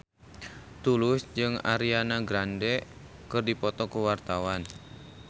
Tulus jeung Ariana Grande keur dipoto ku wartawan